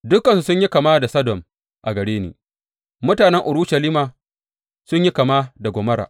Dukansu sun yi kama da Sodom a gare ni; mutanen Urushalima sun yi kama da Gomorra.